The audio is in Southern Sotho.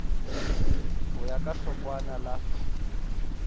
ho ya ka hlokwana la